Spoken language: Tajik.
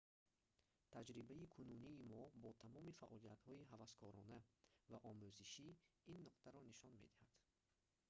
таҷрибаи кунунии мо бо тамоми фаъолиятҳои ҳаваскорона ва омӯзишӣ ин нуктаро нишон медиҳад